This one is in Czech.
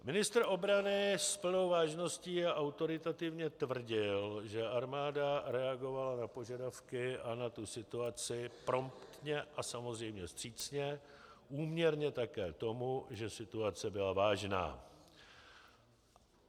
Ministr obrany s plnou vážností a autoritativně tvrdil, že armáda reagovala na požadavky a na tu situaci promptně a samozřejmě vstřícně, úměrně také tomu, že situace byla vážná.